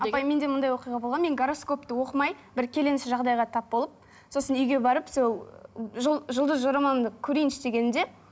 апай менде мындай оқиға болған мен гороскопты оқымай бір келеңсіз жағдайға тап болып сосын үйге барып сол жұлдыз жорамалымды көрейінші дегенімде